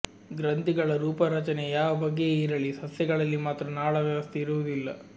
ಗ್ರಂಥಿಗಳ ರೂಪರಚನೆ ಯಾವ ಬಗೆಯೇ ಇರಲಿ ಸಸ್ಯಗಳಲ್ಲಿ ಮಾತ್ರ ನಾಳ ವ್ಯವಸ್ಥೆ ಇರುವುದಿಲ್ಲ